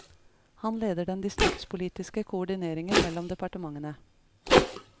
Han leder den distriktspolitiske koordineringen mellom departementene.